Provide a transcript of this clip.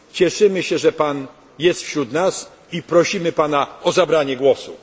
Cieszymy się, że jest Pan wśród nas i prosimy Pana o zabranie głosu.